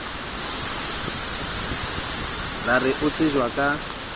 ra re o tsejwa ka